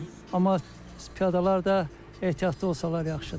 Amma piyadalar da ehtiyatlı olsalar yaxşıdır.